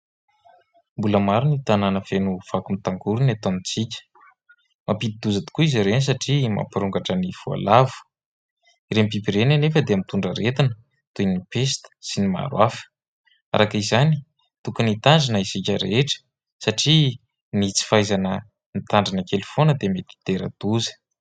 Mbola maro ny tanàna feno fako mitangorina eto antsika : mampidi-doza tokoa izy ireny satria mampirongatra ny voalavo. Ireny biby ireny anefa dia mitondra aretina toy ny pesta sy ny maro hafa araka izany tokony hitandrina isika rehetra satria ny tsy fahaizana mitandrina kely foana dia mety hitera-doza.